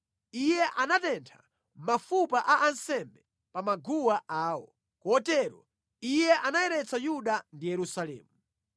Iye anatentha mafupa a ansembe pa maguwa awo, kotero iye anayeretsa Yuda ndi Yerusalemu.